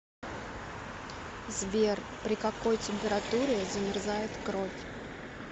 сбер при какой температуре замерзает кровь